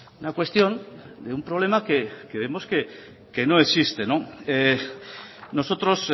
una cuestión de un problema que vemos que no existe nosotros